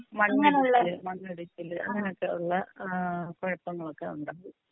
മണ്ണിടിച്ചില് മണ്ണിടിച്ചില് അങ്ങനെയൊക്കെയുള്ള ഏഹ് കുഴപ്പങ്ങളൊക്കെ ഉണ്ടാകും.